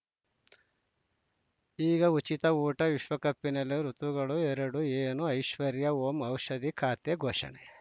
ಈಗ ಉಚಿತ ಊಟ ವಿಶ್ವಕಪಿನಲ್ಲಿ ಋತುಗಳು ಎರಡು ಏನು ಐಶ್ವರ್ಯಾ ಓಂ ಔಷಧಿ ಖಾತೆ ಘೋಷಣೆ